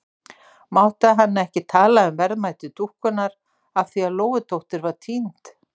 Mátti hann ekki tala um verðmæti dúkkunnar af því að Lóudóttir var týnd?